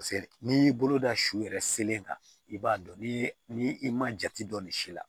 Paseke n'i y'i bolo da su yɛrɛ selen kan i b'a dɔn ni i ma jate dɔn nin si la